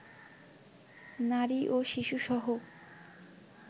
নারী ও শিশুসহ